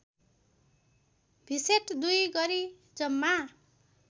भिसेट २ गरी जम्मा